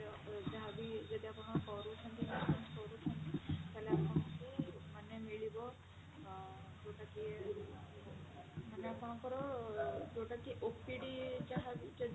ଯାହା ବି ଯଦି ଆପଣ କରୁଛନ୍ତି health insurance କରୁଛନ୍ତି ତାହେଲେ ଆପଣଙ୍କୁ ମାନେ ମିଳିବ ଅ ଯୋଉଟା କି ମାନେ ଆପଣଙ୍କର ଯୋଉଟା କି OPD ଯାହା ବି ଯଦି